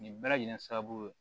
Nin bɛɛ lajɛlen sababu ye